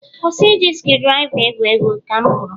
kwụsị iji screwdriver egwu egwu. Ka m kwuru